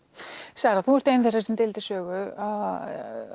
Sara þú ert ein þeirra sem deildir sögu á